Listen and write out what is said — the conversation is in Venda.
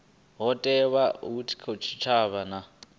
ho thewaho kha tshitshavha na